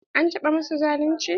An taɓa masu zalunci?